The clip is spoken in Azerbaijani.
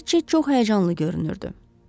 Riçet çox həyəcanlı görünürdü.